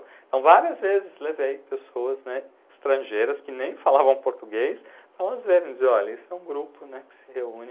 Então várias vezes levei pessoas, né, estrangeiras que nem falavam português, para elas verem e dizer, olha, isso é um grupo, né, que se reúne,